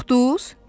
Qorxdunuz?